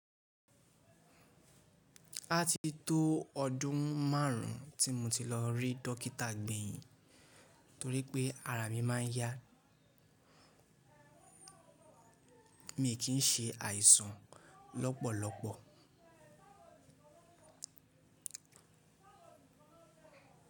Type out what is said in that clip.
Á ti tó ọdún márùn ún tí mo ti lọ rí dókítà gbẹ̀yìn torí pé ara mi má a ń yá. Mi kì í ṣe àìsàn lọ́pọ̀lọpọ̀.